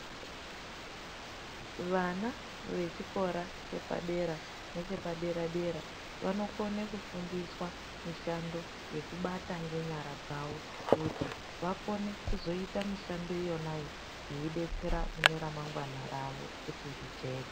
Vana vechikora chepadera, nechepaderadera, vanokone kufundiswa mishando yekubata ngenyara dzawo kuti vakone kuzoita mishando yonayo veidetsera kuneremangwana ravo kuti rijeke.